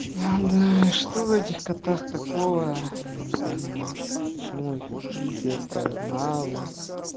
а да что в этих котах такого я не понимаю почему их везде ставят на авы